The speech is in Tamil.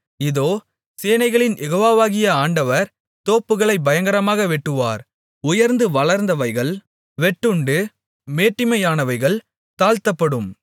இதோ சேனைகளின் யெகோவாவாகிய ஆண்டவர் தோப்புகளைப் பயங்கரமாக வெட்டுவார் உயர்ந்து வளர்ந்தவைகள் வெட்டுண்டு மேட்டிமையானவைகள் தாழ்த்தப்படும்